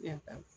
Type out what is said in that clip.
Ne ta